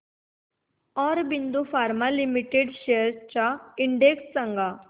Aurobindo pharma limited shares चा index सांगा